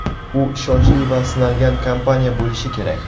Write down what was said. U ishonchli va sinalgan kompaniya bo‘lishi kerak.